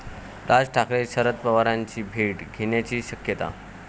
राज ठाकरे शरद पवारांची भेट घेण्याची शक्यता